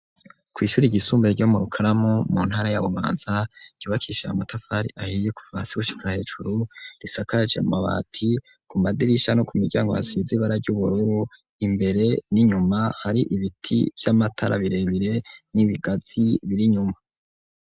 Kw'ishure ryisumbuye ryo mu Rukaramu mu ntara ya Bubanza ryubakishije amatafari ahiye kuva hasi gushika hejuru risakaje amabati, ku madirisha no ku miryango hasize ibara ry'ubururu imbere n'inyuma hari ibiti vy'amatara birebire n'ibigazi biri inyuma.